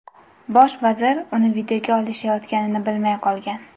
Bosh vazir uni videoga olishayotganini bilmay qolgan.